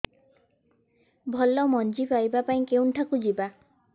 ଭଲ ମଞ୍ଜି ପାଇବା ପାଇଁ କେଉଁଠାକୁ ଯିବା